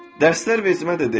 Dərslər vacibə də deyil.